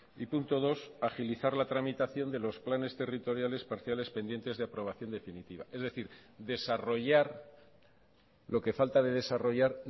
y punto dos agilizar la tramitación de los planes territoriales parciales pendientes de aprobación definitiva es decir desarrollar lo que falta de desarrollar